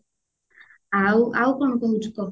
ଆଉ ଆଉ କଣ କହୁଛୁ କହ